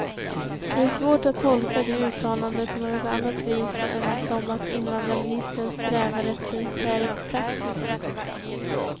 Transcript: Det är svårt att tolka det uttalandet på något annat vis än som att invandrarministern strävar efter skärpt praxis.